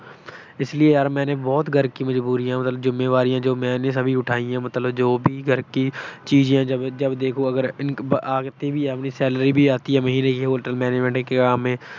ਇਸ ਲਈ ਮੈਂਨੇ ਯਾਰ ਘਰ ਕੀ ਬਹੁਤ ਮਜਬੂਰੀਆਂ ਮਤਲਬ ਜਿੰਮੇਵਾਰੀਆਂ ਮੈਂਨੇ ਉਠਾਈ ਹੈਂ ਮਤਲਬ। ਜੋ ਵੀ ਘਰ ਕੀ ਚੀਜੇ ਹੈਂ, ਜਬ ਦੇਖੋ ਅਗਰ income ਵੀ ਆਤੀ ਹੈ ਘਰ ਕੀ, salary ਵੀ ਆਤੀ ਹੈ Hotel Manangement ਕੇ ਕਾਮ ਮੇਂ।